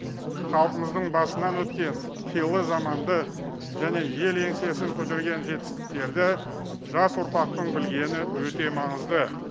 халқымыздың басынан өткен қилы заманды және ел еңсесін көтерген жетістіктерді жас ұрпақтың білгені өте маңызды